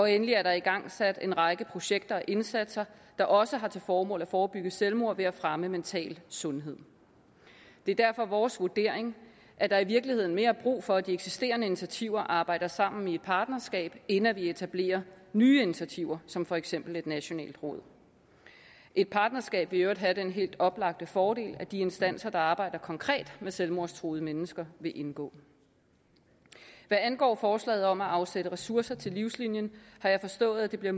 endelig er der igangsat en række projekter og indsatser der også har til formål at forebygge selvmord ved at fremme mental sundhed det er derfor vores vurdering at der i virkeligheden mere er brug for at de eksisterende initiativer arbejder sammen i et partnerskab end at man etablerer nye initiativer som for eksempel et nationalt råd et partnerskab vil i øvrigt have den helt oplagte fordel at de instanser der arbejder konkret med selvmordstruede mennesker vil indgå hvad angår forslaget om at afsætte ressourcer til livslinien har jeg forstået at det bliver